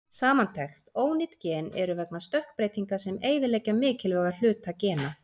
Samantekt: Ónýt gen eru vegna stökkbreytinga sem eyðileggja mikilvæga hluta gena.